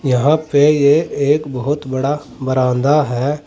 यहां पे ये एक बहोत बड़ा बरांदा है।